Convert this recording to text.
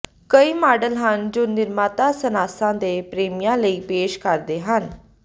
ਕਈ ਮਾਡਲ ਹਨ ਜੋ ਨਿਰਮਾਤਾ ਸਨਾਸਾਂ ਦੇ ਪ੍ਰੇਮੀਆਂ ਲਈ ਪੇਸ਼ ਕਰਦੇ ਹਨ